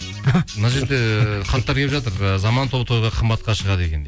мына жерде хаттар келіп жатыр ы заман тобы тойға қымбатқа шығады екен